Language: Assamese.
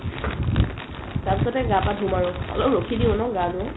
তাৰপিছতে গা পা ধুম আৰু অলপ ৰখি দিও ন গা ধুম